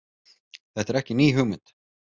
Þetta er ekki ný hugmynd